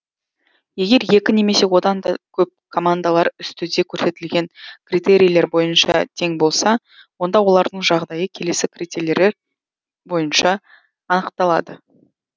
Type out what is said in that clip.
егер екі немесе одан да көп командалар үстіде көрсетілген критерилер бойынша тең болса онда олардың жағдайы келесі критерилер бойынша анықталады